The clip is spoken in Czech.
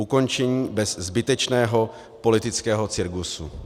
Ukončení bez zbytečného politického cirkusu.